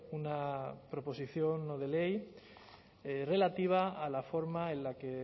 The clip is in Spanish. una proposición no de ley relativa a la forma en la que